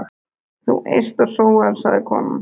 Þú eyst og sóar, sagði konan.